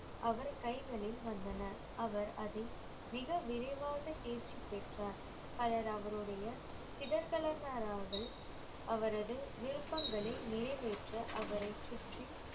அவர் கைகளில் வந்தன அவர் அதை மிக விரைவாக தேர்ச்சி பெற்றார் பலர் அவருடைய அவரது விருப்பங்களை நிறைவேற்ற அவரைச் சுற்றி